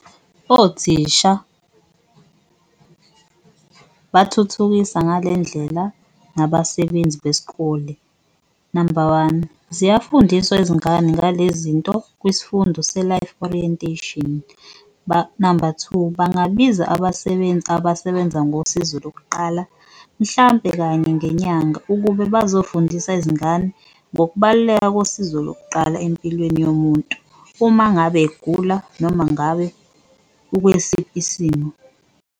Othisha bathuthukisa ngale ndlela nabasebenzi besikole. Namba one, ziyafundisa izingane ngale zinto kwisfundo se-Life Orientation, namba two bangabiza abasebenzi abasebenza ngosizo lokuqala mhlampe kanye ngenyanga ukube bazofundisa izingane ngokubaluleka nosizo lokuqala empilweni yomuntu, uma ngabe egula noma ngabe ukwesiphi isimo.